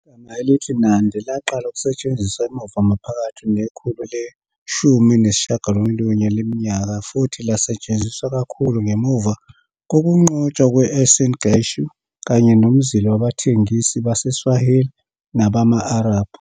Igama elithi Nandi laqala ukusetshenziswa emuva maphakathi nekhulu leshumi nesishagalolunye leminyaka futhi lasetshenziswa kakhulu ngemuva kokunqotshwa kwe-Uasin Gishu kanye nomzila wabathengisi baseSwahili nabama-Arab.